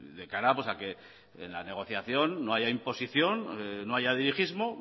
de cara a que en la negociación no haya imposición no haya dirigismo